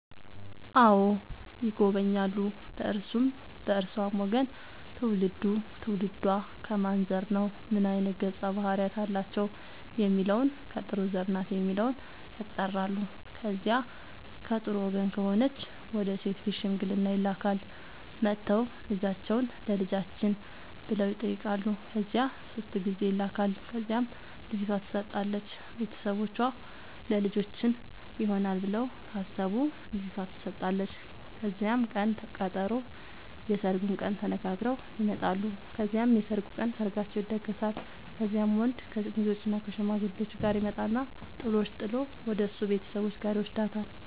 አዎ ይጎበኛሉ በእርሱም በእርሷም ወገን ትውልዱ ትውልዷ ከማን ዘር ነው ምን አይነት ገፀ ባህርያት አላቸው የሚለውን ከጥሩ ዘር ናት የሚለውን ያጣራሉ። ከዚያ ከጥሩ ወገን ከሆነች ወደ ሴት ቤት ሽምግልና ይላካል። መጥተው ልጃችሁን ለልጃችን ብለው ይጠያቃሉ ከዚያ ሶስት ጊዜ ይላካል ከዚያም ልጅቷ ትሰጣለች ቤተሰቦቿ ለልጃችን ይሆናል ብለው ካሰቡ ልጇቷ ተሰጣለች ከዚያም ቅን ቀጠሮ የስርጉን ቀን ተነጋግረው ይመጣሉ ከዚያም የሰርጉ ቀን ሰርጋቸው ይደገሳል። ከዚያም ወንድ ከሙዜዎችእና ከሽማግሌዎቹ ጋር ይመጣና ጥሎሽ ጥል ወደሱ ቤተሰቦች ጋር ይውስዳታል።